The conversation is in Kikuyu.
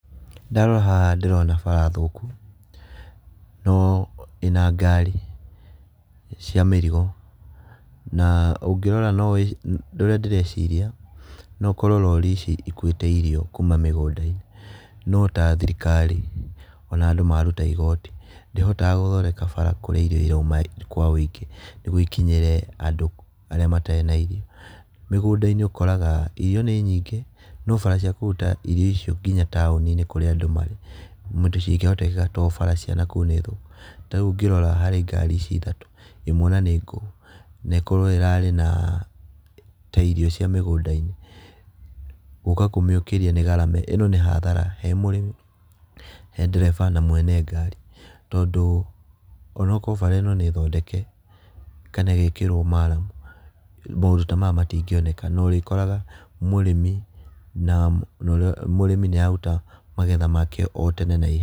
Ndarora haha ndĩrona bara thũku no ĩna ngari cia mĩrigo na ũngĩrora ũrĩa ndĩreciria na korwo rori ici ikuĩte irio kuma mĩgũnda-inĩ. No ta thirikari ona andũ maruta igoti ndĩhotaga gũthondeka bara kũrĩa irio irauma kwa ũingĩ nĩguo ikinyĩre andũ arĩa matarĩ na irio. Mĩgũnda-inĩ ũkoraga irio nĩ nyingĩ no bara ciakũruta irio icio nginya taũni-inĩ kũrĩa andũ marĩ gũtingĩhoteteka tondũ bara cianakũu nĩ thũku. Tarĩu ũngirora harĩ ngari ici ithatũ ĩmwe ona nĩ ngũu na ĩkorwo ĩrarĩ na ĩkuĩte irio cia mĩgũnda-inĩ, guka kũmĩũkĩria nĩ ngarama. ĩno nĩ hathara he mũrĩmi he ndereba na mwene ngari, tondũ onakorwo bara ĩno nĩ thondeke kana ĩgekĩrwo maramu maũndũ ta maya matingĩoneka. Na ũrĩkoraga mũrĩmi na ũrĩa, mũrĩmi nĩ araruta magetha make o tene na ihenya.